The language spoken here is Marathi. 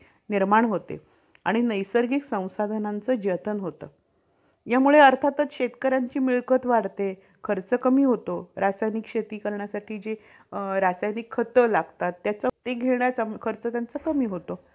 खूप stress वैगरे येतो किंवा एक problems असे बरेच problems वाढलेले आहेत कारण कि telecommunication हे medical, corporate, defence अशा बऱ्याच important field शी